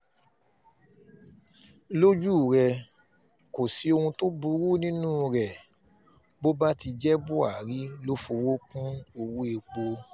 lójú rẹ̀ kò sí ohun tó burú nínú rẹ̀ bó bá ti jẹ́ buhari ló fọwọ́ kún owó-èpò